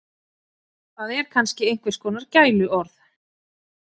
Það er kannski einhvers kona gæluorð.